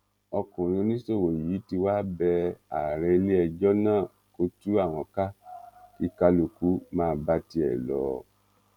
ọkùnrin oníṣòwò yìí tí wàá bẹ ààrẹ iléẹjọ náà kó tú àwọn ká kí kálukú máa bá tiẹ lọ